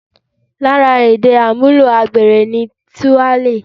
Lára èdè àmúlò agbèrò ni 'Túálè'